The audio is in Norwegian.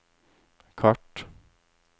kart